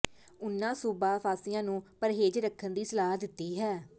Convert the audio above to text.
ਉਨ੍ਹਾਂ ਸੂਬਾ ਵਾਸੀਆਂ ਨੂੰ ਪਰਹੇਜ਼ ਰੱਖਣ ਦੀ ਸਲਾਹ ਦਿੱਤੀ ਹੈ